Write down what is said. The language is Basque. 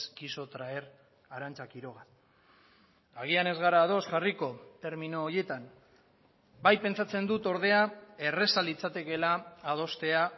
quiso traer arantza quiroga agian ez gara ados jarriko termino horietan bai pentsatzen dut ordea erraza litzatekeela adostea